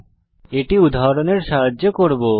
আমরা এটি উদাহরণের সাহায্যে করব